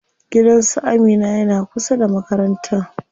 Gidan su Amina yana kusa da makarantan.